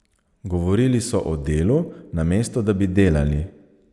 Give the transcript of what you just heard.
Govorili so o delu, namesto da bi delali.